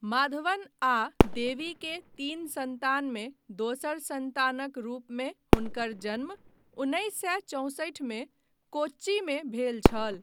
माधवन आ देवी के तीन सन्तानमे दोसर सन्तानक रूपमे हुनकर जन्म उन्नैस सए चौंसठि मे कोच्चीमे भेल छल।